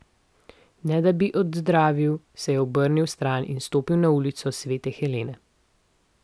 Ne da bi odzdravil, se je obrnil stran in stopil na Ulico svete Helene.